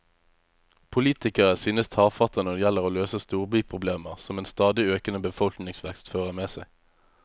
Politikere synes tafatte når det gjelder å løse storbyproblemer som en stadig økende befolkningsvekst fører med seg.